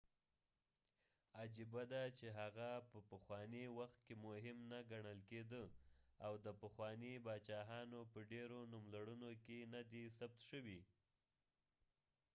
عجېبه ده چې هغه په پخوانی وخت کې مهم نه کڼل کېده او د پخوانی باچاهانو په ډیرو نوملړونو کې نه دي ثبت شوي